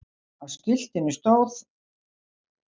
Á skiltinu stóð